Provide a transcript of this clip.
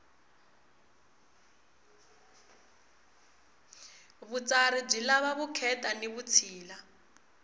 vutsari byi lava vukheta ni vutshila